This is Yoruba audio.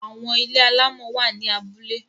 Àwọn ilé alámọ̀ wà ní abúlé.